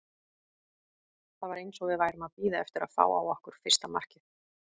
Það var eins og við værum að bíða eftir að fá á okkur fyrsta markið.